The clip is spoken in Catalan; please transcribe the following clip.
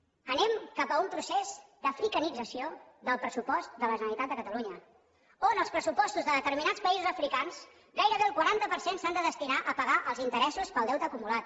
anem cap a un procés d’africanització del pressupost de la generalitat de catalunya on els pressupostos de determinats països africans gairebé el quaranta per cent s’han de destinar a pagar els interessos per al deute acumulat